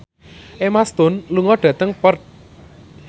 Emma Stone lunga dhateng Perth